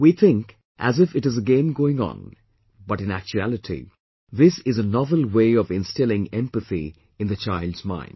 We think as if it is a game going on , but in actuality, this is a novel way of instilling empathy in the child's mind